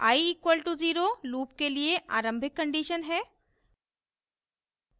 i = 0 loop के लिए आरंभिक condition है